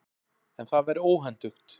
En það væri óhentugt.